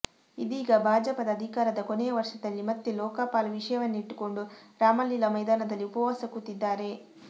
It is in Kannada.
ಇದೀಗ ಬಾಜಪದ ಅದಿಕಾರದ ಕೊನೆಯವರ್ಷದಲ್ಲಿ ಮತ್ತೆಲೋಕಪಾಲ್ ವಿಷಯವನ್ನಿಟ್ಟುಕೊಂಡು ರಾಮಲೀಲಾ ಮೈದಾನದಲ್ಲಿಉಪವಾಸ ಕೂತಿದ್ದಾರೆ